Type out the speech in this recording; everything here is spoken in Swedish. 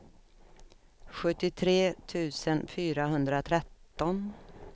sjuttiotre tusen fyrahundratretton